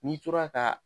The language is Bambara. N'i tora ka